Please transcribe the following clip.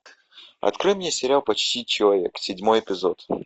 открой мне сериал почти человек седьмой эпизод